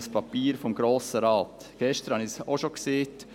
Gestern habe ich dies auch schon gesagt.